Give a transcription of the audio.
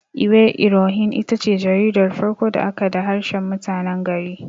Iwe irohin itace jaridar farko da aka da harshen mutanen gari.